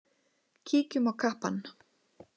Kíkjum á kappann.